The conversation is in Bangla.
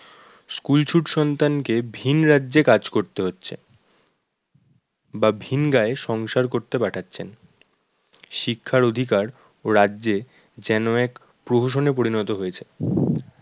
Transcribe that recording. school ছুট সন্তানকে ভিন রাজ্যে কাজ করতে হচ্ছে বা ভিন গাঁয়ে সংসার করতে পাঠাচ্ছেন শিক্ষার অধিকার ও রাজ্যে যেন এক প্রহসনে পরিণত হয়েছে।